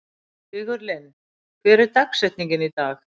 Sigurlinn, hver er dagsetningin í dag?